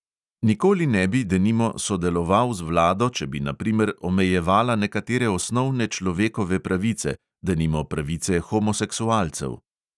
"Nikoli ne bi, denimo, sodeloval z vlado, če bi na primer omejevala nekatere osnovne človekove pravice, denimo pravice homoseksualcev."